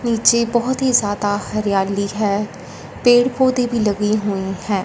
नीचे बहोत ही ज्यादा हरियाली है पेड़ पौधे भी लगे हुए हैं।